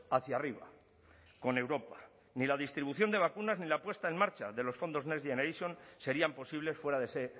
hacia arriba con europa ni la distribución de vacunas ni la puesta en marcha de los fondos next generation serían posibles fuera de ese